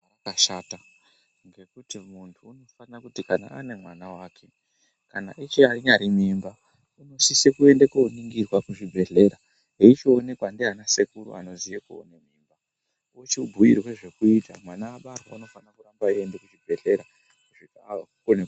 Zvakashata ngekuti muntu anofanira kuti kana ane mwana wake kana eshe achirima nemimba anosisa kuzvibhedhlera veichionekwa nana sekuru vochibhuitwa zvekuita vana mai vaende kuzvibhedhlera.